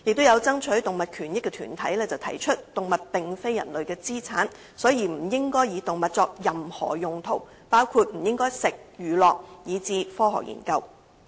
有爭取動物權益的團體提出動物並非人類的資產，所以不應該以動物作任何用途，包括食用、娛樂以至科學研究。